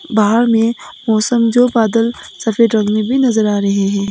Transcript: बाहर में मौसम जो बादल सफेद रंग में भी नजर आ रहे हैं।